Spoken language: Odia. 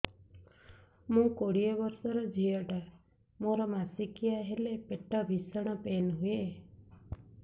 ମୁ କୋଡ଼ିଏ ବର୍ଷର ଝିଅ ଟା ମୋର ମାସିକିଆ ହେଲେ ପେଟ ଭୀଷଣ ପେନ ହୁଏ